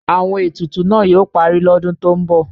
Àwọn etutu náà yóò parí lọ́dún tó ń bọ̀.